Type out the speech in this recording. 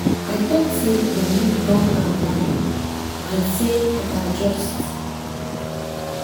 i talk sey nah me don am badly and sey i go adjust.